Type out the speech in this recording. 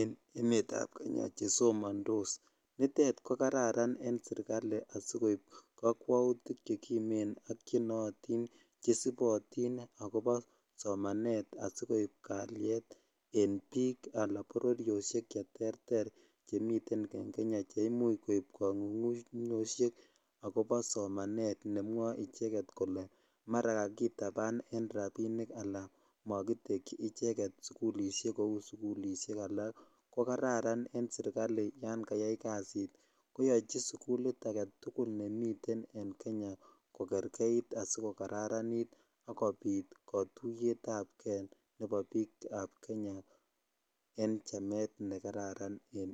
en emetab kenya chesomondos nitet kokararan en serikali asikoip kokwoutik chekimen ak chenootin chesibotin akopo somanet asikoip kaliet en biik ala bororiosiek cheterter chemiten en kenya cheimuch koip kang'ung'unyosiek akopo somanet nemwoe icheket kole mara kakitapan en rapinik alan makitekyich icheket sukulisiek kou sukulisiek alak kokararan en serikali yangayai kasit koyochi sikulit agetugul nemiten en kenya kokerkeit asikokararanit akopit kotuiyetap ke nepo biikab kenya en chamet nekararan en.